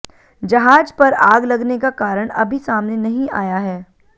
जहाज पर आग लगने का कारण अभी सामने नहीं आया है